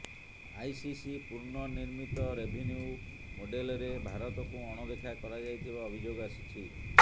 ICC ପୂର୍ଣ୍ଣନିର୍ମିତ revenue ମୋଡେଲରେ ଭାରତକୁ ଅଣଦେଖା କରାଯାଇଥିବା ଅଭିଯୋଗ ଆସିଛି